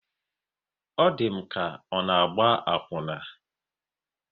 Ọ di m ka ọ na-agba akwuna